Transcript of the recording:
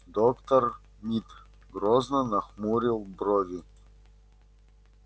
доктор мид грозно нахмурил брови